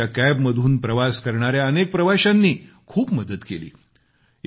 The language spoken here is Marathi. त्यांच्या कॅबमधून प्रवास करणाऱ्या अनेक प्रवाशांनी खूप मदत केली